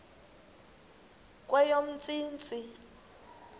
kweyomntsintsi